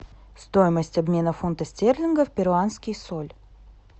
стоимость обмена фунта стерлингов в перуанский соль